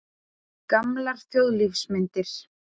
Gamlar þjóðlífsmyndir.